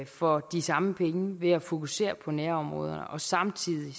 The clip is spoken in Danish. for de samme penge ved at fokusere på nærområderne og samtidig